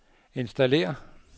installér